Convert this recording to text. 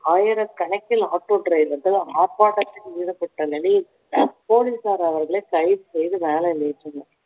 ஆயிரக்கணக்கில் auto driver கள் ஆர்ப்பாட்டத்தில் ஈடுபட்ட நிலையில் போலீசார் அவர்களை கைது செய்து van ல் ஏற்றினர்